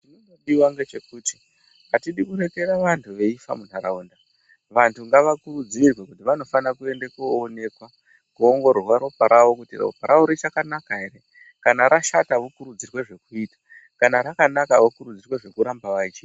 Chinodiwa ngechekuti ,atidi kurekera vantu veifa muntaraunda .Vantu ngavakurudzirwe kuti vanofana kuende koonekwa, kuongororwa ropa ravo, kuti ropa ravo richakanaka ere. Kana rashata vokurudzirwe zvekuita, kana rakanaka, okurudzirwe zvekuramba vachiita.